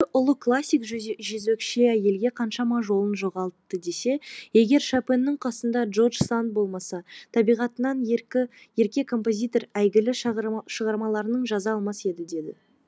замандастары ұлы классик жезөкше әйелге қаншама жылын жоғалтты десе егер шопеннің қасында джорж санд болмаса табиғатынан ерке композитор әйгілі шығармаларын жаза алмас еді дейді